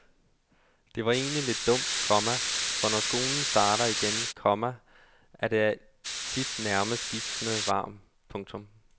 Det er egentlig lidt dumt, komma for når skolen starter igen, komma er det tit allermest gispende varmt. punktum